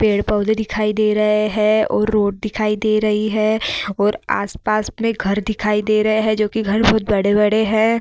पेड़-पौधे दिखाई दे रहे हैं और रोड दिखाई दे रही है और आस-पास में घर दिखाई दे रहे हैं जो की घर बहुत बड़े-बड़े हैं |